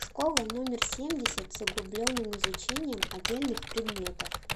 школа номер семьдесят с углубленным изучением отдельных предметов